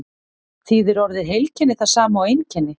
þýðir orðið heilkenni það sama og einkenni